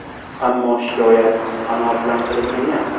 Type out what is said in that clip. Ammo shikoyat qanoatlantirilmagan .